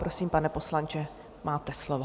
Prosím, pane poslanče, máte slovo.